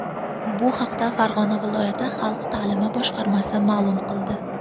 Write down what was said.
Bu haqda Farg‘ona viloyati xalq ta’limi boshqarmasi ma’lum qildi .